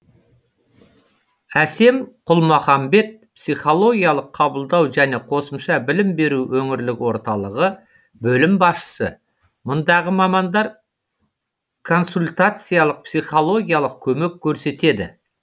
әсем құлмахамбет психологиялық қабылдау және қосымша білім беру өңірлік орталығы бөлім басшысы мұндағы мамандар консультациялық психологиялық көмек көрсетеді